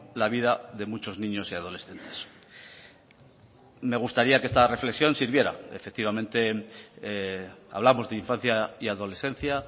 la vida de muchos niños y adolescentes me gustaría que esta reflexión sirviera efectivamente hablamos de infancia y adolescencia